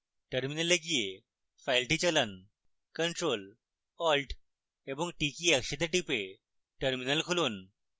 terminal গিয়ে file চালান ctrl alt এবং t কী একসাথে টিপে terminal খুলুন